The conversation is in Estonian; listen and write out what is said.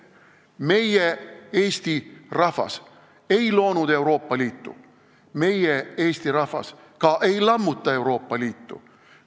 Meie, Eesti rahvas, ei loonud Euroopa Liitu, meie, Eesti rahvas, ka ei lammuta Euroopa Liitu.